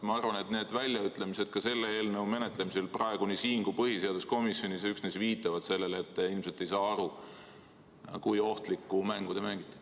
Ma arvan, et need väljaütlemised ka selle eelnõu menetlemisel nii praegu siin kui ka põhiseaduskomisjonis viitavad üksnes sellele, et te ilmselt ei saa aru, kui ohtlikku mängu te mängite.